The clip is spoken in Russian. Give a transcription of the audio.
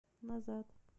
назад